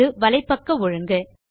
இது வலைப்பக்க ஒழுங்கு